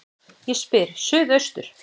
Ég spyr: Suðaustur